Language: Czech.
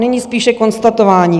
Nyní spíše konstatování.